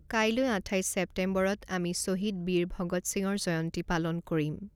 কাইলৈ আঠাইছ ছেপ্টেম্বৰত আমি শ্বহীদ বীৰ ভগৎ সিঙৰ জয়ন্তী পালন কৰিম।